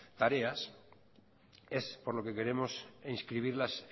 tareas es por lo que queremos inscribirlas